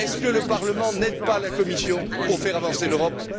Est ce que le Parlement n'aide pas la Commission pour faire avancer l'Europe?